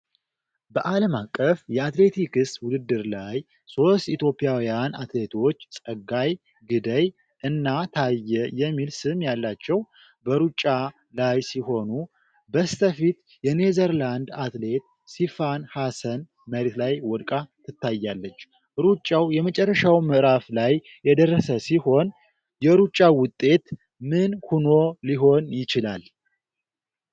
በዓለም አቀፍ የአትሌቲክስ ውድድር ላይ ሦስት ኢትዮጵያውያን አትሌቶች (ፀጋይ፣ ግደይ እና ታዬ የሚል ስም ያላቸው) በሩጫ ላይ ሲሆኑ፤ በስተፊት የኔዘርላንድ አትሌት(ሲፋን ሀሰን) መሬት ላይ ወድቃ ትታያለች። ሩጫው የመጨረሻው ምዕራፍ ላይ የደረሰ ሲሆን፤ የሩጫው ውጤት ምን ሆኖ ሊሆን ይችላል?